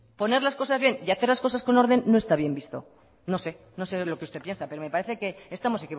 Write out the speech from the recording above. poner las cosas bien y hacer las cosas con orden no está bien visto no sé no sé lo que usted piensa pero me parece que estamos